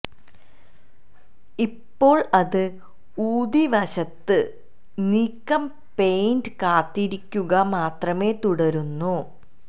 ഇപ്പോൾ അത് ഊതി വശത്ത് നീക്കം പെയിന്റ് കാത്തിരിക്കുക മാത്രമേ തുടരുന്നു